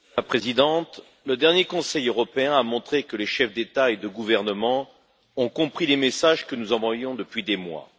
Madame la Présidente, le dernier Conseil européen a montré que les chefs d'État ou de gouvernement ont compris les messages que nous envoyons depuis des mois.